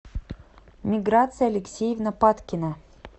миграция алексеевна падкина